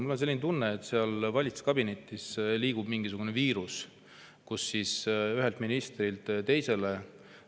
Mul on selline tunne, et valitsuskabinetis liigub mingisugune viirus ühelt ministrilt teisele.